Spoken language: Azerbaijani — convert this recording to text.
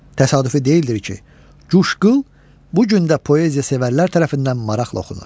Təsadüfi deyildir ki, Cuşqıl bu gün də poeziya sevərlər tərəfindən maraqla oxunur.